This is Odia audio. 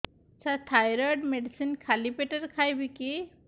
ସାର ଥାଇରଏଡ଼ ମେଡିସିନ ଖାଲି ପେଟରେ ଖାଇବି କି